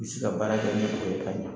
N bɛ se ka baara kɛ ni o ye ka ɲɛ